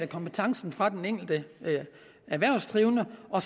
kompetencen fra den enkelte erhvervsdrivende og